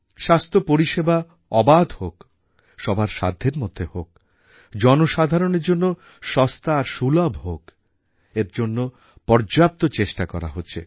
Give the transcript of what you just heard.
স্বাস্থ্য পরিষেবা অবাধ হোক সবার সাধ্যের মধ্যে হোক জনসাধারণের জন্য সস্তা আর সুলভ হোক এর জন্য পর্যাপ্ত চেষ্টা করা হচ্ছে